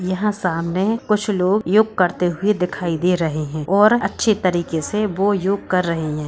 यहाँ सामने कुछ लोग योग करते हुए दिखाई दे रहें हैं और अच्छे तरीके से वो योग कर रहें हैं।